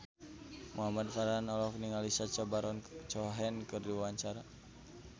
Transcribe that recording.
Muhamad Farhan olohok ningali Sacha Baron Cohen keur diwawancara